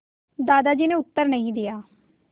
दादाजी ने उत्तर नहीं दिया